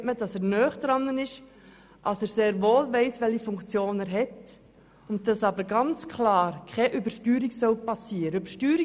Nicht zuletzt, weil ersichtlich ist, dass er nahe dran ist und sehr wohl weiss, welche Funktion er innehat, während aber ganz klar ist, dass keine Übersteuerung passieren soll.